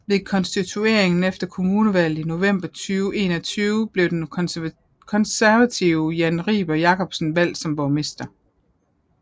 Ved konstitueringen efter kommunevalget i november 2021 blev den konservative Jan Riber Jakobsen valgst som borgmester